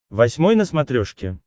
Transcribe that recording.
восьмой на смотрешке